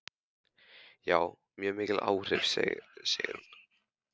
Já, mjög mikil áhrif, segir hún.